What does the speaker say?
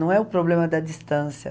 Não é o problema da distância.